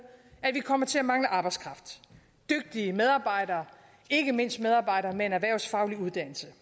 at vi kommer til at mangle arbejdskraft dygtige medarbejdere ikke mindst medarbejdere med en erhvervsfaglig uddannelse